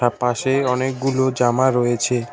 পাশে অনেকগুলো জামা রয়েছে।